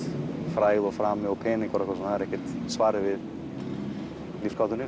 frægð og frami og peningar það er ekkert svarið við lífsgátunni